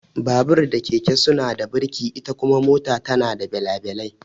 Babur da keke suna da kaca, ita kuma mota tana da belabalai.